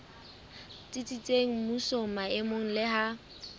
tsitsitseng mmusong maemong le ha